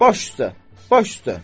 Baş üstə, baş üstə!